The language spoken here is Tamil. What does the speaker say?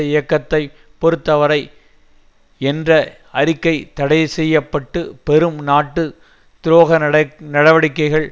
இயக்கத்தை பொறுத்த வரை என்ற அறிக்கை தடைசெய்யப்பட்டு பெரும் நாட்டு துரோக நடை நடவடிக்கைகள்